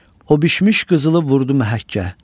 O bişmiş qızılı vurdu məhəkkə.